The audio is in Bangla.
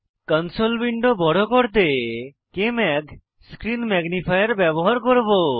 কনসোল উইন্ডো বড় করতে আমি কেএমএজি স্ক্রিন ম্যাগনিফায়ার ব্যবহার করব